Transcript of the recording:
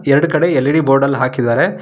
ಎರಡು ಕಡೆ L E D board ಅಲ್ ಹಾಕಿದ್ದಾರೆ.